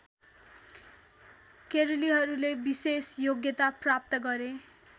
केरलीहरूले विशेष योग्यता प्राप्त गरे